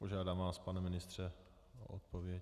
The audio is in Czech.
Požádám vás, pane ministře, o odpověď.